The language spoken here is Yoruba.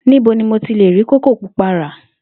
Níbo ni mo ti lè rí kókò púpá ra?